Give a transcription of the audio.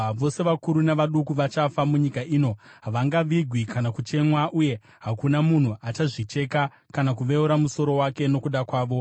“Vose, vakuru navaduku vachafa munyika ino. Havangavigwi kana kuchemwa, uye hakuna munhu achazvicheka kana kuveura musoro wake nokuda kwavo.